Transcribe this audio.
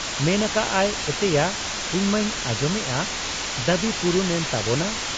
ᱢᱮᱱ ᱟᱠᱟᱜ ᱟᱭ, 'ᱮᱛᱮᱭᱟ ᱤᱧᱢᱟᱹᱧ ᱟᱸᱡᱚᱢᱮᱜ ᱟ ᱫᱟᱹᱵᱤ ᱯᱩᱨᱩᱱ ᱮᱱ ᱛᱟᱵᱚᱱᱟ ᱾